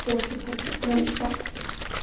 я очень хочу прямо сейчас